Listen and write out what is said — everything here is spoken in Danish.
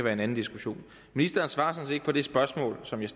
er en anden diskussion ministeren svarer sådan set ikke på det spørgsmål som jeg